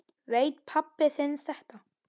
Veit pabbi þinn þetta?